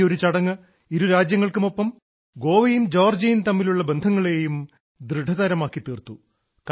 ഈ ഒരു ചടങ്ങ് ഇരു രാജ്യങ്ങൾക്കുമൊപ്പം ഗോവയും ജോർജ്ജിയയും തമ്മിലുള്ള ബന്ധങ്ങളെയും ദൃഢതരമാക്കിത്തീർത്തു